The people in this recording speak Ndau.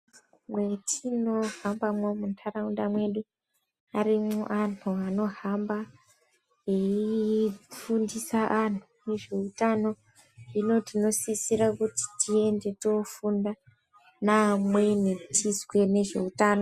Mwetinohambamwo munharaunda mwedu arimwo anhu anohamba eifundisa anhu zveutano hino tinosisira kuti tienda toofunda neamweni tizwe ngezveutano.